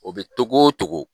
O be togo togo